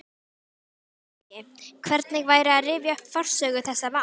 LANDSHÖFÐINGI: Hvernig væri að rifja upp forsögu þessa máls?